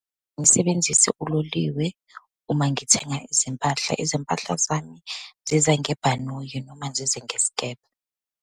Ngisebenzise uloliwe uma ngithenga izimpahla. Izimpahla zami zize ngebhanoyi, noma zize ngesikebhe.